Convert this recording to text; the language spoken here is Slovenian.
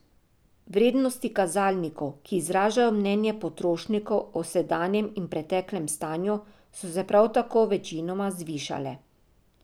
Vrednosti kazalnikov, ki izražajo mnenje potrošnikov o sedanjem in preteklem stanju, so se prav tako večinoma zvišale.